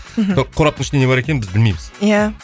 кораптың ішінде не бар екенін біз білмейміз иә